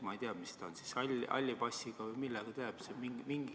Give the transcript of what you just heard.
Ma ei tea, kas siis halli passiga või millega ta jääb.